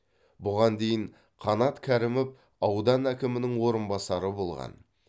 бұған дейін қанат кәрімов аудан әкімінің орынбасары болған